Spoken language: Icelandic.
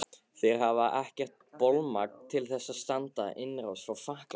Þeir hafa ekkert bolmagn til að standast innrás frá Frakklandi.